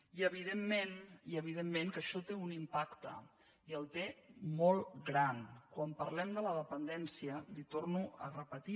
i evidentment que això té un impacte i el té molt gran quan parlem de la dependència li ho torno a repetir